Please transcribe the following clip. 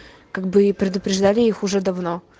как бы и предупреждали их уже давно